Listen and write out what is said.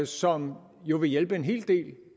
som jo vil hjælpe en hel del